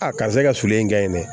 A karisa e ka sulu ye nga ye dɛ